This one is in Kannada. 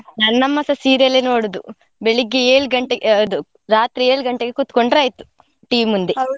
ನನ್ನಮ್ಮ ಸ serial ಲ್ಲೇ ನೋಡುದು, ಬೆಳಿಗ್ಗೆ ಏಳ್ ಗಂಟೆ ಅದು ರಾತ್ರಿ ಏಳು ಗಂಟೆಗೆ ಕುತ್ಕೊಂಡ್ರೆ ಆಯ್ತು, TV .